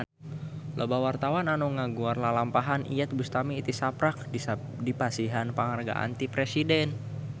Loba wartawan anu ngaguar lalampahan Iyeth Bustami tisaprak dipasihan panghargaan ti Presiden